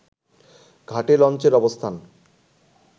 ঘাটে লঞ্চের অবস্থান